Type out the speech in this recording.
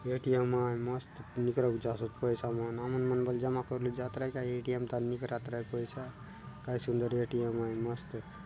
ए_टी_एम आय मस्त निकले जाये पैसा मन हमन मन बर जमा करले जात रहय ए_टी_एम तहा नई करात रहय पइसा काय सुन्दर ए_टी_एम आय मस्त --